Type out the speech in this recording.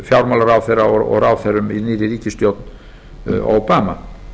fjármálaráðherra og ráðherrum í nýrri ríkisstjórn obama